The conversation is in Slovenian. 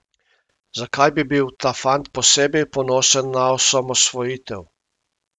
Zakaj bi bil ta fant posebej ponosen na osamosvojitev?